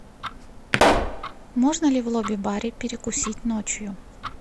можно ли в лоби баре перекусить ночью